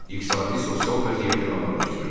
İqtisadi sosial vəziyyəti ağırlaşdırırdı.